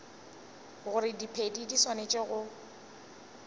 gore diphedi di swanetše go